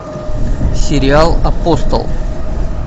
сериал апостол